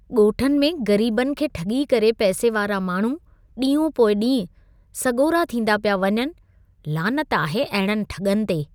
ॻोठनि में ग़रीबनि खे ठॻी करे पैसे वारा माण्हू ॾीहों पोइ ॾींहुं सॻोरा थींदा पिया वञनि। लानत आहे अहिड़नि ठॻनि ते।